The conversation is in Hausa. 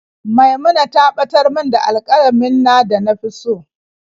Maimuna ta batar min da alƙalamin na da na fi so.